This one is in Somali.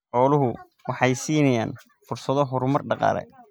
Xooluhu waxay siinayaan fursado horumar dhaqaale.